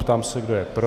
Ptám se, kdo je pro.